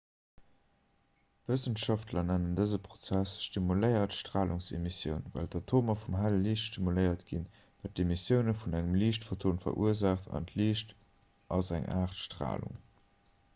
wëssenschaftler nennen dëse prozess stimuléiert stralungsemissioun well d'atomer vum helle liicht stimuléiert ginn wat d'emissioun vun engem liichtphoton verursaacht a liicht ass eng aart stralung